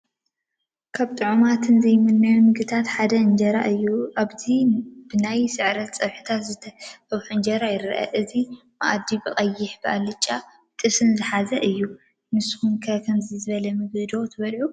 ካብ ጥዑማትን ዘይምኖን ምግብታት ሓደ እንጀራ እዩ፡፡ ኣብዚ ብናይ ስዕረት ፀብሒታት ዝተፀብሐ እንጀራ ይረአ፡፡ እዚ ማኣዲ ብቀይሕ ፣ብኣለጫን ብጥብስን ዝሓዘ እዩ፡፡ ንስኹም ከ ከምዚ ዝበለ ምግቢ ዶ ትበልዑ?